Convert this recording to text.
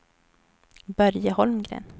Börje Holmgren